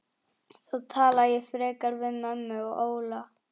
Þá tala ég frekar við mömmu og Óla.